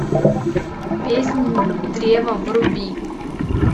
песнь древа вруби